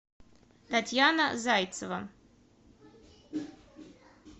татьяна зайцева